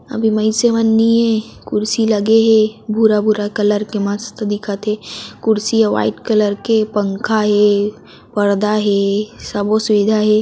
अभी मयिन्से मन नि ए कुर्सी लगे हे भूरा भूरा कलर के मस्त दिखत हे कुर्सी ह व्हाइट कलर के पंखा हे पर्दा हे सब ओ सुविधा हे।